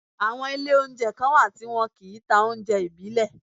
Àwọn Ilé oúnjẹ kan wà tí wọn ti n ta oúnjẹ ìbílẹ̀